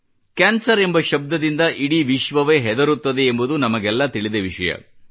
cancer ಎಂಬ ಶಬ್ದದಿಂದ ಇಡೀ ವಿಶ್ವವೇ ಹೆದರುತ್ತದೆ ಎಂಬುದು ನಮಗೆಲ್ಲ ತಿಳಿದ ವಿಷಯವೇ